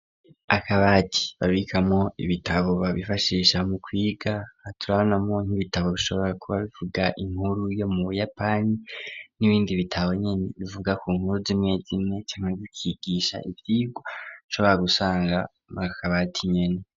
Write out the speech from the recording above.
Akabati babikamo ibitabo babifashisha mu kwiga haturanamo nk'ibitabo bishobora kuba bivuga inkuru yo mu buyapani n'ibindi bitabonyene bivuga ku nkuru z'imwe zimwe mukwigisha ushobora gusanga makabati nyene.